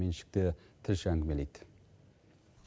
меншікті тілші әңгімелейді